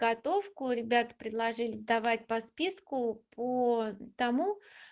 готовку ребята предложили сдавать по списку по тому